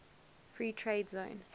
free trade zone